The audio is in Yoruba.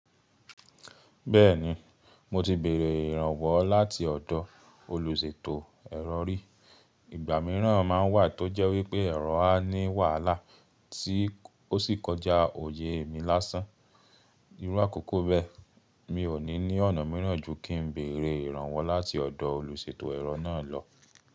Bẹ́ẹ̀ni, mo ti bèrè ìrànwọ́ láti ọ̀dọ̀ olùṣètò ẹ̀rọ rí. Ìgbà mìíràn máa ń wà tó jẹ́ wí pé ẹ̀rọ á ní wàhálà tí ó sì kọjá òye èmí lásán. Irú àkókò bẹ́ẹ̀, mi ò ní ní ọ̀nà mìíràn ju kí ń bèrè ìrànwọ́ láti ọ̀dọ̀ olùṣètò ẹ̀rọ náà lọ.